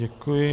Děkuji.